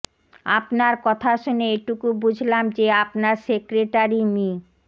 আপনার কথা শুনে এটুকু বুঝলাম যে আপনার সেক্রেটারি মি